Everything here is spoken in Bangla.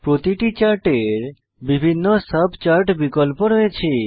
প্রতিটি চার্টের বিভিন্ন সাব চার্ট বিকল্প রয়েছে